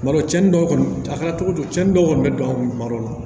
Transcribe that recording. Tuma dɔ cɛnni dɔw kɔni a kɛra cogo cogo cɛnin dɔw kɔni bɛ don an kun tuma dɔ la